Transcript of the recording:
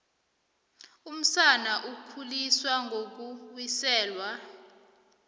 umsana ukhuliswa ngokuwiselwa